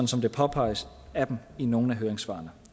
som det påpeges af dem i nogle af høringssvarene